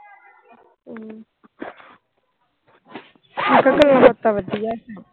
ਗੱਲਾਂ ਬਾਤਾਂ ਵਧੀਆ।